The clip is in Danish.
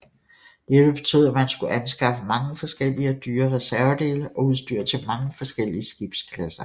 Dette betød at man skulle anskaffe mange forskellige og dyre reservedele og udstyr til mange forskellige skibsklasser